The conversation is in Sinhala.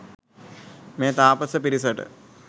මේ තාපස පිරිසට